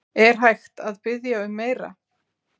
Er hægt að biðja um meira?